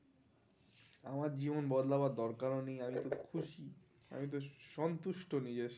আমার জীবন বদলাবার দরকারও নেই আমি তো খুশি, আমি তো সন্তুষ্টো নিজের